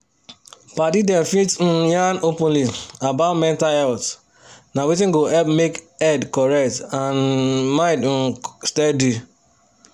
padi dem fit um yan openly about mental health na wetin go help make head correct and um mind um steady.